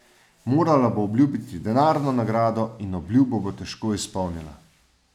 Morala bo obljubiti denarno nagrado, in obljubo bo težko izpolnila.